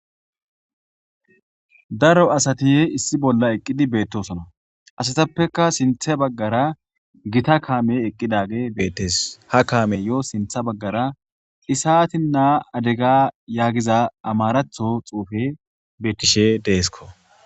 Daro asati issi bolla eqidi betosona asatappeka sintha bagara issi kame eqidage betees ha kameyo sintha bagara isatina adega yagiza xufe betishe dee'sko